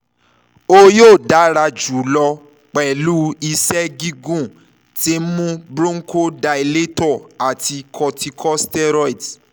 o yoo dara julọ pẹlu iṣẹ gigun ti nmu cs] bronchodilator ati corticosteroids